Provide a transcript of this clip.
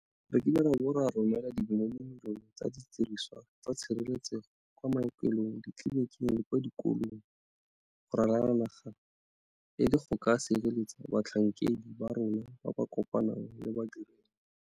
Re rekile ra bo ra romela dimilionemilione tsa didirisiwa tsa tshireletsego kwa maokelong, ditleliniki le kwa dikolong go ralala le naga e le go ka sireletsa batlhankedi ba rona ba ba kopanang le badirelwa.